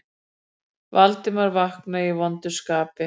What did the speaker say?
Valdimar vaknaði í vondu skapi.